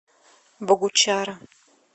богучара